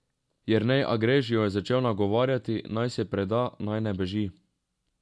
Jernej Agrež jo je začel nagovarjati, naj se preda, naj ne beži.